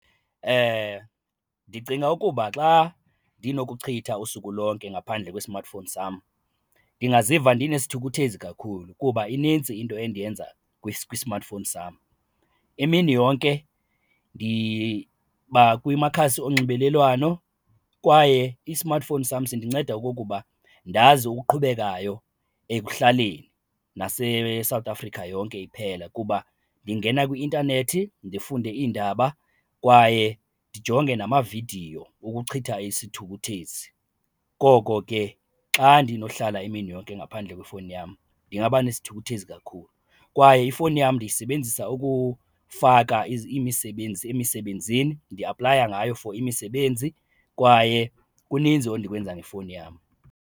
Ndicinga ukuba xa ndinokuchitha usuku lonke ngaphandle kwe-smartphone sam ndingaziva ndinesithukuthezi kakhulu kuba inintsi into endiyenza kwi-smartphone sam. Imini yonke ndiba kwimakhasi onxibelelwano kwaye i-smartphone sam sindinceda okokuba ndazi oqhubekayo ekuhlaleni naseSouth Africa yonke iphela kuba ndingena kwi-intanethi ndifunde iindaba kwaye ndijonge namavidiyo wokuchitha isithukuthezi, koko ke xa ndinohlala imini yonke ngaphandle kwefowuni yam ndingaba nesithukuthezi kakhulu. Kwaye ifowuni yam ndiyisebenzisa ukufaka imisebenzi emisebenzini, ndiyaplayela ngayo for imisebenzi kwaye kuninzi endikwenza ngefowuni yam.